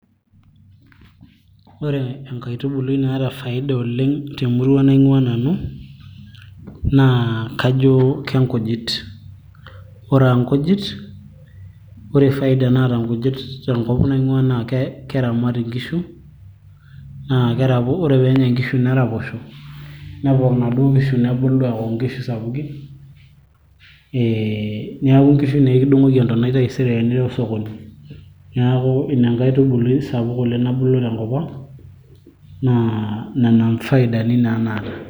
ore enkaitubului naata faida oleng temurua naing'ua nanu naa kajo kenkujit ore aankujit ore faid naata nkujit tenkop naing'ua naa keramat inkishu naa ore peenya inkishu neraposho nepok inaduo kishu nebulu aaku inkishu sapukin eh, niaku inkishu naa ekidung'oki entonai taisere tenirew sokoni neeku ina inkaitubului sapuk oleng nabulu tenkop ang naa nena faidani naa naata.